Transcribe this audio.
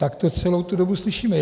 Tak to celou tu dobu slyšíme.